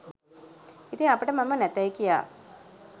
ඉතින් අපට මම නැතැයි කියා